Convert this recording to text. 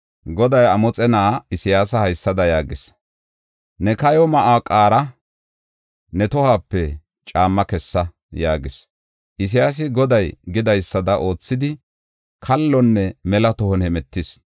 Goday Amoxe na7aa Isayaasa haysada yaagis: “Ne kayo ma7uwa qaara; ne tohuwape caamma kessa” yaagis. Isayaasi Goday gidaysada oothidi kallonne mela tohon hemetis.